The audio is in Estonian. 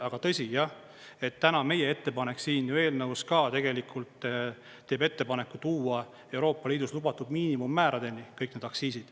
Aga tõsi jah, et täna on meie ettepanek siin eelnõus ka tegelikult teeb ettepaneku tuua Euroopa Liidus lubatud miinimummääradeni kõik need aktsiisid.